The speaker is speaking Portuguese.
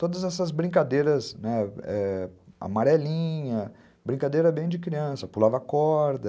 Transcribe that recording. Todas essas brincadeiras amarelinhas, né, brincadeira bem de criança, pulava corda.